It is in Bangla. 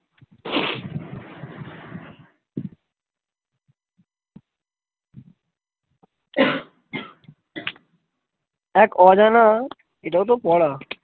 এক অজানা এটাও তো পড়া